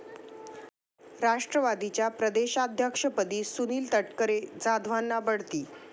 राष्ट्रवादीच्या प्रदेशाध्यक्षपदी सुनील तटकरे, जाधवांना बढती?